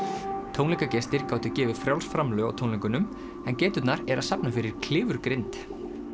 tónleikagestir gátu gefið frjáls framlög á tónleikunum en geiturnar eru að safna fyrir klifurgrind